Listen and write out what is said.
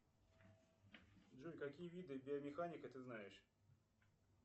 джой какие виды биомеханика ты знаешь